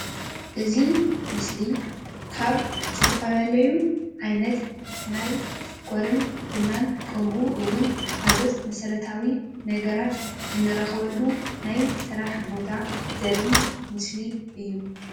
እዚ ምስሊ ካብ ዝተፈላለዩ ዓይነት ናይ ሽኮርን ቡናን ከምኡ እዉን ካልኦት መሰረታዊ ነገራት እንረኽበሉ ናይ ስራሕ ቦታ ዘርኢ ምስሊ እዩ፡፡